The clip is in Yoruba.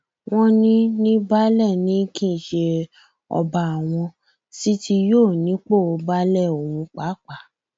wọn ní ní baálé ni kì í ṣe ọba àwọn sì ti yọ ọ nípò baálé ọhún pàápàá